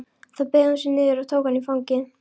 Þá beygði hún sig niður og tók hann í fangið.